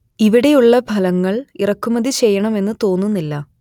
ഇവിടെ ഉള്ള ഫലങ്ങൾ ഇറക്കുമതി ചെയ്യണം എന്നു തോന്നുന്നില്ല